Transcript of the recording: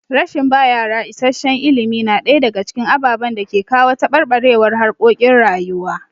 Rashin ba yara isasshen ilimi na ɗaya daga cikin ababen da ke kawo taɓarɓarewar harkokin rayuwa.